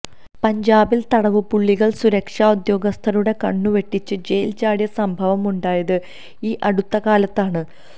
പഞ്ചാബിൽ തടവുപുള്ളികൾ സുരക്ഷാ ഉദ്യോഗസ്ഥരുടെ കണ്ണുവെട്ടിച്ച് ജയിൽ ചാടിയ സംഭവം ഉണ്ടായത് ഈ അടുത്തകാലത്താണ്